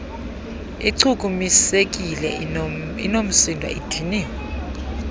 ichukumisekile inoomsindo idiniwe